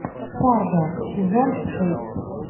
фарго сезон шесть